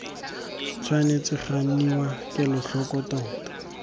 tshwanetse ga nniwa kelotlhoko tota